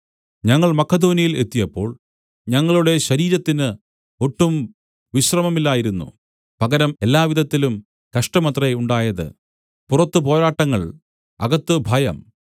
ഞങ്ങൾ മക്കെദോന്യയിൽ എത്തിയപ്പോൾ ഞങ്ങളുടെ ശരീരത്തിന് ഒട്ടും വിശ്രമമില്ലായിരുന്നു പകരം എല്ലാവിധത്തിലും കഷ്ടമത്രേ ഉണ്ടായത് പുറത്ത് പോരാട്ടങ്ങൾ അകത്ത് ഭയം